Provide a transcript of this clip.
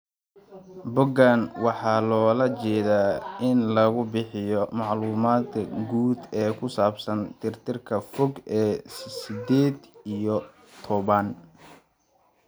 Boggaan waxaa loola jeedaa in lagu bixiyo macluumaadka guud ee ku saabsan tirtirka fog ee sided iyo tobanq.